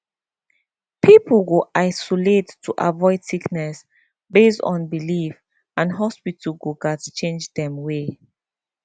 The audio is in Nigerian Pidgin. people go isolate to avoid sickness based on belief and hospitals go gats change dem way